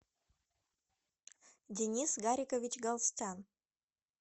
денис гарикович галстян